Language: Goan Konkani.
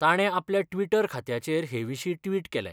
ताणें आपल्या ट्विटर खात्याचेर हेविशीं ट्विट केलें.